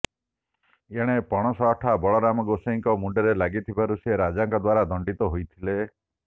ଏଣେ ପଣସ ଅଠା ବଳରାମ ଗୋସାଇଁଙ୍କ ମୁଣ୍ଡରେ ଲାଗିଥିବାରୁ ସେ ରାଜାଙ୍କ ଦ୍ୱାରା ଦଣ୍ଡିତ ହୋଇଥିଲେ